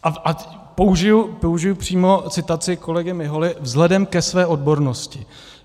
A použiji přímo citaci kolegy Miholy - vzhledem ke své odbornosti.